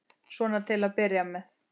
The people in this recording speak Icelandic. Svona til að byrja með.